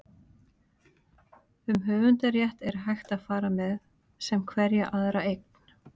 um höfundarrétt er hægt að fara með sem hverja aðra eign